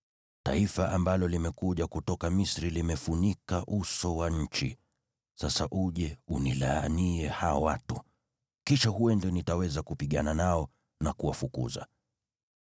‘Taifa ambalo limekuja kutoka Misri limefunika uso wa nchi. Sasa uje unilaanie hao watu. Kisha huenda nitaweza kupigana nao na kuwafukuza.’ ”